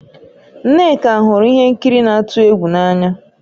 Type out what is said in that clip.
Nneka hụrụ ihe nkiri na-atụ egwu n'anya